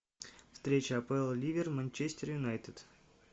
встреча апл ливер манчестер юнайтед